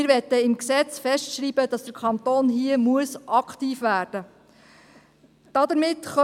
Wir möchten im Gesetz festschreiben, dass der Kanton hier aktiv werden muss.